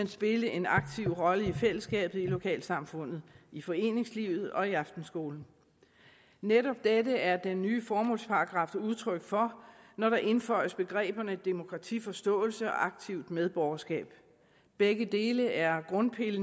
spille en aktiv rolle i fællesskabet i lokalsamfundet i foreningslivet og i aftenskolen netop dette er den nye formålsparagraf udtryk for når der indføjes begreberne demokratiforståelse og aktivt medborgerskab begge dele er grundpiller